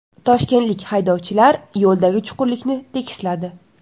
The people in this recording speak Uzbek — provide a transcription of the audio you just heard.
Toshkentlik haydovchilar yo‘ldagi chuqurlikni tekisladi .